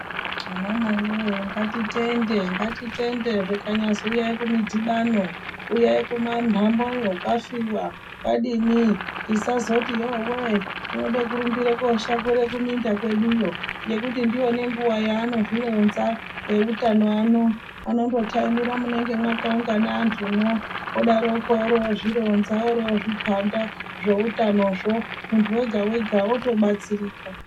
Vana mai voye ngatitende ngatitende zvikanyazi uyai kumudhibano uyai kumanhamoyo kwafiva kwadini tisazoti yove tode kurumbira koshakura kuminda kweduyo. Ngekuti ndiyo nenguva yaanozvirinza eutano ano anondotaimira munenge mwakaungana antumo odaroko oro vozvironza oro vozvipanda zvoutanozvo, muntu wega-wega votobatsirika